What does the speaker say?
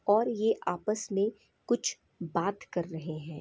और ये आपस मे कुछ बात कर रहे हैं।